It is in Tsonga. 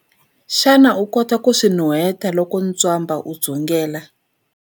Xana u kota ku swi nuheta loko ntswamba wu dzungela?